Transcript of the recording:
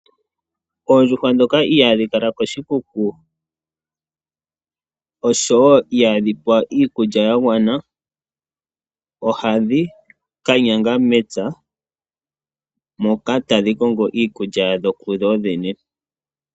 Oondjuhwa ndhoka ihaadhi kala koshikuku ngele ihadhi pewa iikulya yagwana, ohadhi ka yanga mepya nenge melundu opo dhi konge iikulya yadho ku dho dhene.